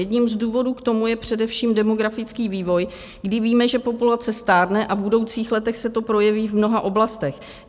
Jedním z důvodů k tomu je především demografický vývoj, kdy víme, že populace stárne, a v budoucích letech se to projeví v mnoha oblastech.